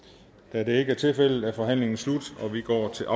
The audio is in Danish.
da det ikke er tilfældet er forhandlingen slut og vi går til